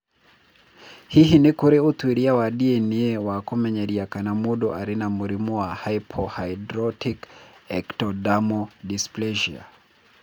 Hihi nĩ kũrĩ ũtuĩria wa DNA wa kũmenyeria kana mũndũ arĩ na mũrimũ wa hypohydrotic ectodermal dysplasia?